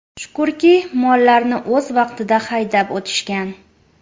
Shukurki, mollarni o‘z vaqtida haydab o‘tishgan.